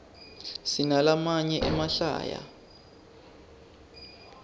sinalamaye emahlaya